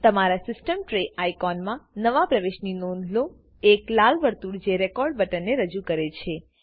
તમારા system tray અઈકોમાં નવા પ્રવેશની નોંધ લો એક લાલ વર્તુળ જે રેકોર્ડ બટનને રજૂ કરે છે